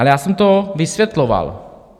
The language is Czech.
Ale já jsem to vysvětloval.